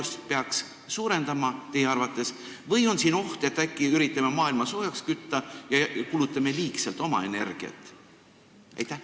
Kas ka tööjaotust nendega peaks teie arvates suurendama või on siin oht, et äkki üritame maailma soojaks kütta ja kulutame liigselt oma energiat?